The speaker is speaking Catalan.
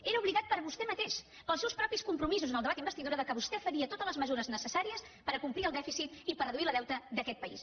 era obligat per vostè mateix pels seus propis compromisos en el debat d’investidura que vostè faria totes les mesures necessàries per acomplir el dèficit i per reduir el deute d’aquest país